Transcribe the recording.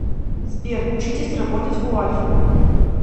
сбер учитесь работать у альфы